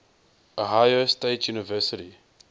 ohio state university